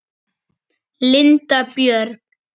Linda Björg.